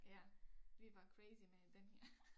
Ja vi var crazy med den her